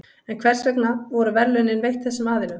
En hvers vegna voru verðlaunin veitt þessum aðilum?